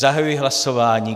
Zahajuji hlasování.